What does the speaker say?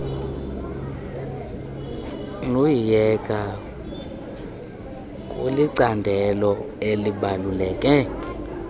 lusyiyeka kulicandelo elibaluleke